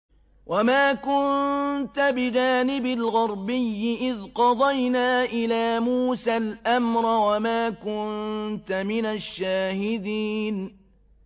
وَمَا كُنتَ بِجَانِبِ الْغَرْبِيِّ إِذْ قَضَيْنَا إِلَىٰ مُوسَى الْأَمْرَ وَمَا كُنتَ مِنَ الشَّاهِدِينَ